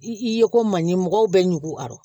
I ye ko man ɲi mɔgɔw bɛ ɲugu a nɔ